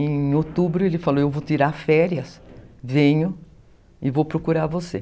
Em outubro ele falou, eu vou tirar férias, venho e vou procurar você.